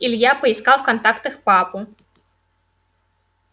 илья поискал в контактах папу